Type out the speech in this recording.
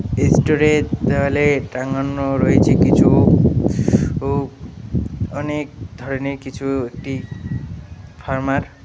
store এর দেওয়ালে টাঙানো রয়েছে কিছু উ অনেক ধরনের কিছু একটি ফার্মা এর --